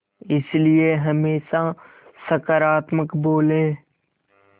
इसलिए हमेशा सकारात्मक बोलें